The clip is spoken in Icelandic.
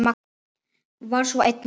Var svo einnig nú.